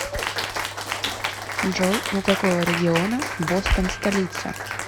джой у какого региона бостон столица